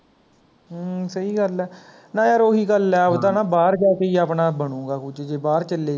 ਹਮਮ ਸਹੀ ਗੱਲ ਹੈ, ਨਾ ਯਾਰ ਉਹੀ ਗੱਲ ਐ ਆਪਦਾ ਨਾ ਬਾਹਰ ਜਾ ਕੇ ਈ ਆਪਣਾ ਬਣੁਗਾ ਕੁੱਝ ਜੇ ਬਾਹਰ ਚਲੈ ਗਏ